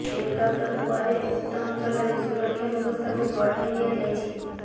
encounter ପରେ ଉକ୍ତ ଅଞ୍ଚଳରେ ସୁରକ୍ଷା ବ୍ୟବସ୍ଥାକୁ ବଢ଼ାଇ ଦିଆଯାଇଛି